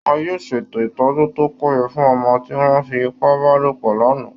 Wọ́n yóò ṣètò ìtọ́jú tó péye fún ọmọ tí wọ́n fi ipá bá lòpọ̀ lánàá